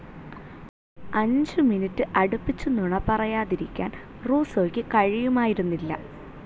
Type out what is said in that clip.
അഞ്ചു മിനുടെ അടുപ്പിച്ച് നുണ പറയാതിരിക്കാൻ റൂസ്സോക്ക് കഴിയുമായിരുന്നില്ല.